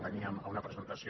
veníem a una presentació